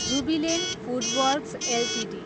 Jubilant FoodWorks Ltd